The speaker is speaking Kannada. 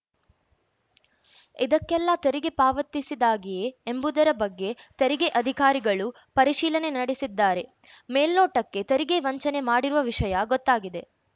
ಇದಕ್ಕೆಲ್ಲಾ ತೆರಿಗೆ ಪಾವತಿಸಿದಾಗಿಯೇ ಎಂಬುದರ ಬಗ್ಗೆ ತೆರಿಗೆ ಅಧಿಕಾರಿಗಳು ಪರಿಶೀಲನೆ ನಡೆಸಿದ್ದಾರೆ ಮೇಲ್ನೋಟಕ್ಕೆ ತೆರಿಗೆ ವಂಚನೆ ಮಾಡಿರುವ ವಿಷಯ ಗೊತ್ತಾಗಿದೆ